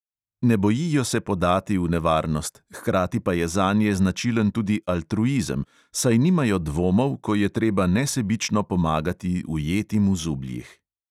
Ne bojijo se podati v nevarnost, hkrati pa je zanje značilen tudi altruizem, saj nimajo dvomov, ko je treba nesebično pomagati ujetim v zubljih.